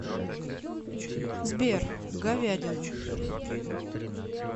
сбер говядина